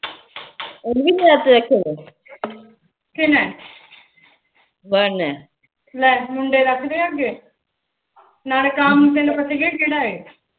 ਨਾਲੇ ਕੰਮ ਤੈਨੂੰ ਪਤਾ ਹੀ ਆ ਕਿਹੜਾ ਇਹ